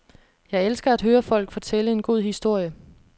Jeg elsker at høre folk fortælle en god historie.